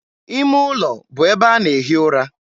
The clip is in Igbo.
ime ụlọ bụ ebe a na-ehi ụra.